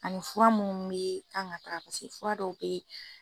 Ani fura mun be kan ka paseke fura dɔw be yen